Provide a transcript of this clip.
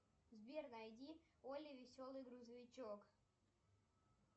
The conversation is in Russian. сбер найди олли веселый грузовичок